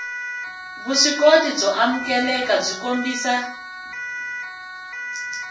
vuswikoti byo amukeleka byi kombisa